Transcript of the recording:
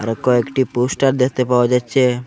ও কয়েকটি পোস্টার দেখতে পাওয়া যাচ্ছে।